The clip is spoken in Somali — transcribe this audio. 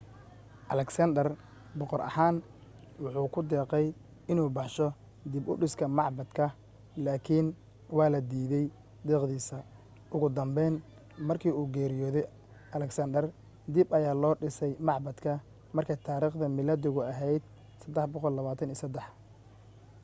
alexander boqor ahaan wuxuu ku deeqay inuu baxsho dib u dhiska macbadka laakiin waa la diidey deeqdiisa ugu dambeyn markii uu geriyoodey alexander dib ayaa loo dhisay macbadka markay taariikhda miilaadigu ahayd323